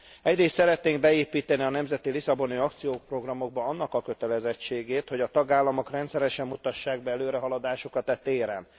Egyrészt szeretnénk beépíteni a nemzeti lisszaboni akcióprogramokba annak a kötelezettségét, hogy a tagállamok rendszeresen mutassák be előrehaladásukat e téren.